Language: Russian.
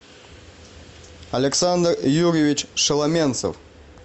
александр юрьевич шеломенцев